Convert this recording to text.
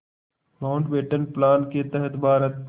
Mountbatten plan के तहत भारत